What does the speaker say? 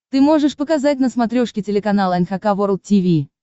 ты можешь показать на смотрешке телеканал эн эйч кей волд ти ви